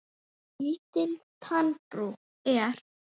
Lítil tannbrú er.